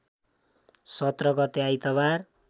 १७ गते आइतबार